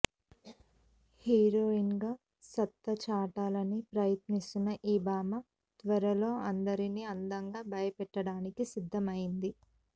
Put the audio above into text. హీరోయిన్గా సత్తా చాటాలని ప్రయత్నిస్తున్న ఈ భామ త్వరలో అందరినీ అందంగా భయపెట్టడానికి సిద్ధమైంది